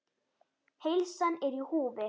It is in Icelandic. Heilsan er í húfi.